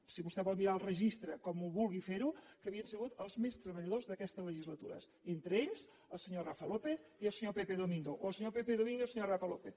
si vostè vol mirar el registre com vulgui fer ho que havien sigut els més treballadors d’aquesta legislatura entre ells el senyor rafa lópez i el senyor pepe domingo o el senyor pepe domingo i el senyor rafa lópez